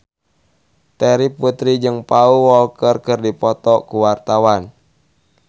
Terry Putri jeung Paul Walker keur dipoto ku wartawan